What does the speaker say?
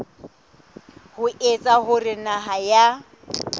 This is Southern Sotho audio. ho etsa hore naha ya